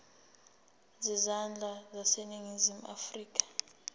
zezandla zaseningizimu afrika